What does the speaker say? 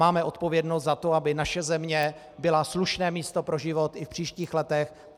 Máme odpovědnost za to, aby naše země byla slušné místo pro život i v příštích letech.